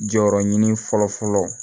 Jɔyɔrɔ ɲini fɔlɔ fɔlɔ